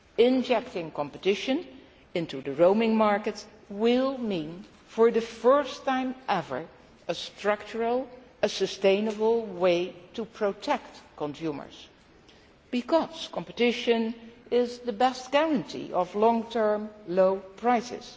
Injecting competition into the roaming markets will mean, for the first time ever, a structural and sustainable way to protect consumers because competition is the best guarantee of long term low prices.